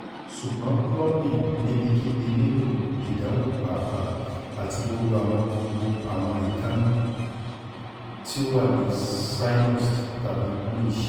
sugbon clubing nibikibi nilo idanwo paapa ti gbogbo awọn gbogbo awọn eekanna ti wa ni cyanosed tabi bluish